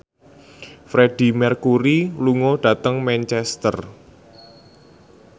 Freedie Mercury lunga dhateng Manchester